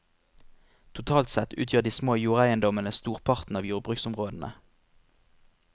Totalt sett utgjør de små jordeiendommene storparten av jordbruksområdene.